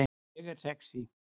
Ég er sexý